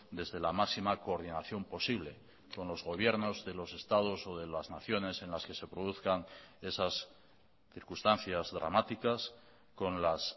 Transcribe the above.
desde la máxima coordinación posible con los gobiernos de los estados o de las naciones en las que se produzcan esas circunstancias dramáticas con las